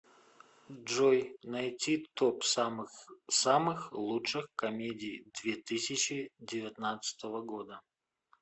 джой найти топ самых самых лучших комедий две тысячи девятнадцатого года